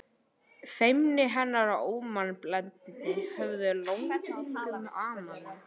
Feimni hennar og ómannblendni höfðu löngum amað mér.